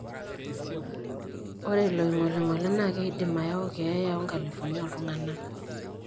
Ore ilo ongolingoli naa keidim ayau keya oo nkalifuni oltunganak.